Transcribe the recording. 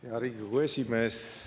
Hea Riigikogu esimees!